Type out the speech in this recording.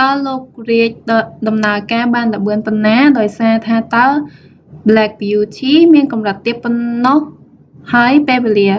តើលោក រៀឌ reid ដំណើរការបានលឿនប៉ុណ្ណាដោយសារថាតើ ប្លែក បីយូធី black beauty មានកំរិតទាបប៉ុណ្ណោះហើយពេលវេលា